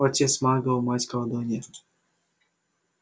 отец магл мать колдунья